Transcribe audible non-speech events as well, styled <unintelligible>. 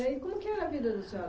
E aí como que era a vida <unintelligible>